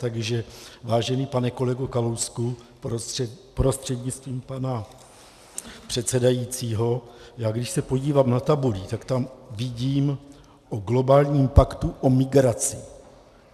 Takže vážený pane kolego Kalousku prostřednictvím pana předsedajícího, já když se podívám na tabuli, tak tam vidím o globálním paktu o migraci.